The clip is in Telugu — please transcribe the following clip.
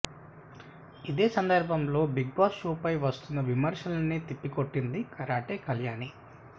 ఇదే సందర్భంలో బిగ్ బాస్ షోపై వస్తున్న విమర్శల్ని తిప్పికొట్టింది కరాటే కళ్యాణి